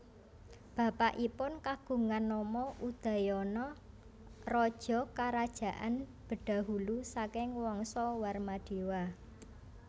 Bapakipun kagungan nama Udayana raja Kerajaan Bedahulu saking Wangsa Warmadewa